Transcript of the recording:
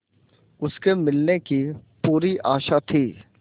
उसके मिलने की पूरी आशा थी